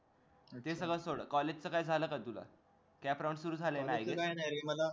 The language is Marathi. ते सगळं सोड college च काय झालं का तुझं cap round सुरु झाले ना